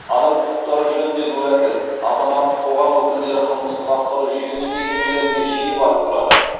адам құқықтары жөніндегі уәкіл азаматтық қоғам өкілдері қылмыстық атқару жүйесі мекемелеріне жиі барып тұрады